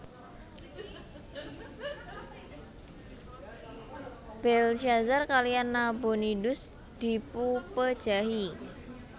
Belsyazar kaliyan Nabonidus dipupejahi